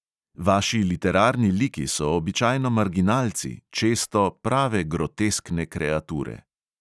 Vaši literarni liki so običajno marginalci, često prave groteskne kreature.